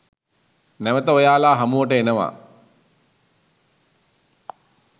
නැවත ඔයාලා හමුවට එනවා